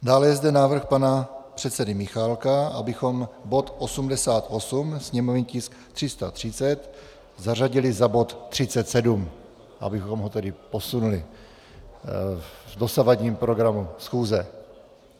Dále je zde návrh pana předsedy Michálka, abychom bod 88, sněmovní tisk 330, zařadili za bod 37, abychom ho tedy posunuli v dosavadním programu schůze.